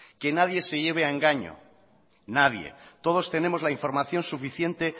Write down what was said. que nadie se lleve a engaño nadie todos tenemos la información suficiente